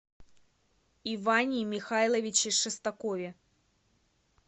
иване михайловиче шестакове